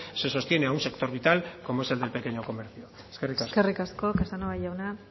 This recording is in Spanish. se sostiene a un sector vital como es el del pequeño comercio eskerrik asko eskerrik asko casanova jauna